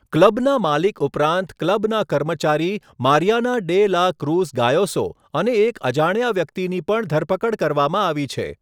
ક્લબના માલિક ઉપરાંત ક્લબના કર્મચારી Mariana de la Cruz Gayoso અને એક અજાણ્યા વ્યક્તિની પણ ધરપકડ કરવામાં આવી છે.